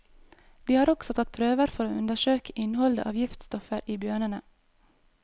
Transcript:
De har også tatt prøver for å undersøke innholdet av giftstoffer i bjørnene.